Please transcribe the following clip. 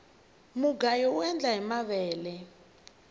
mugayo uendla hi mavele